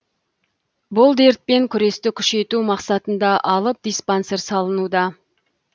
бұл дертпен күресті күшейту мақсатында алып диспансер салынуда